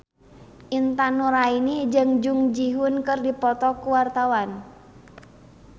Intan Nuraini jeung Jung Ji Hoon keur dipoto ku wartawan